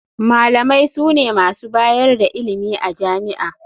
Malamai sune masu bayar da ilimi a jami'a.